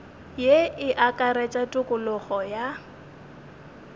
ye e akaretša tokologo ya